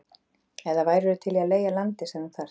eða værirðu til í að leigja landið sem þú þarft?